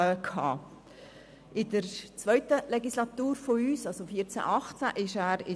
In unserer zweiten Legislaturperiode von 2014–2018 war er in